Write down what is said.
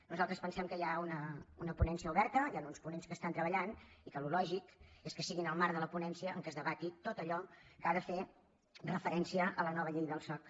nosaltres pensem que hi ha una ponència oberta hi han uns ponents que estan treballant i que el lògic és que sigui en el marc de la ponència on es debati tot allò que ha de fer referència a la nova llei del soc